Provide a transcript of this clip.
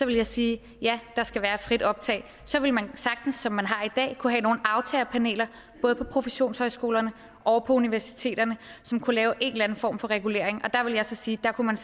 jeg sige ja der skal være et frit optag så ville man sagtens som man har det i dag kunne have nogle aftagerpaneler både på professionshøjskolerne og på universiteterne som kunne lave en eller anden form for regulering der ville jeg så sige at man